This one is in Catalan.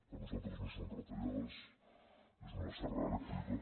per nosaltres no són retallades és una serra elèctrica